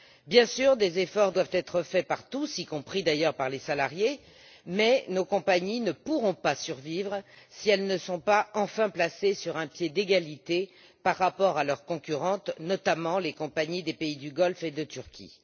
Bien entendu, des efforts doivent être faits par tous, y compris d'ailleurs par les salariés, mais nos compagnies ne pourront pas survivre si elles ne sont pas enfin mises sur un pied d'égalité avec leurs concurrentes, notamment les compagnies des pays du Golfe et de Turquie.